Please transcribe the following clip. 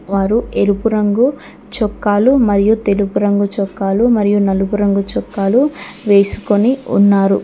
వారు ఎరుపు రంగు చొక్కాలు మరియు తెలుపు చొక్కాలు మరియు నలుపు రంగు చొక్కాలు వేసుకొని ఉన్నారు.